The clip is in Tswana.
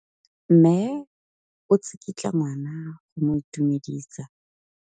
Mme o tsikitla ngwana go mo itumedisa.